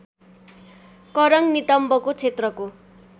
करङ नितम्बको क्षेत्रको